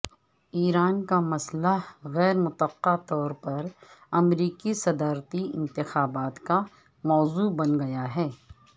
ایران کا مسئلہ غیر متوقع طور پر امریکی صدارتی انتخابات کا موضوع بن گیا ہے